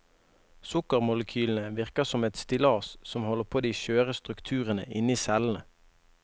Sukkermolekylene virker som et stillas som holder på de skjøre strukturene inni cellene.